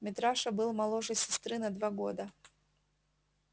митраша был моложе сестры на два года